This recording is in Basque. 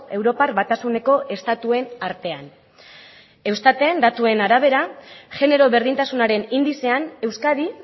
europar batasuneko estatuen artean eustaten datuen arabera genero berdintasunaren indizean euskadi